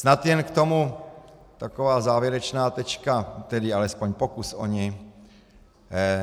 Snad jen k tomu taková závěrečná tečka, tedy alespoň pokus o ni.